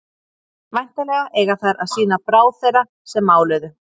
væntanlega eiga þær að sýna bráð þeirra sem máluðu